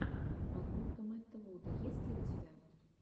подборка мэтта вуда есть ли у тебя